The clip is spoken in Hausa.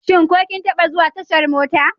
Shin ko kin taɓa zuwa tashar mota?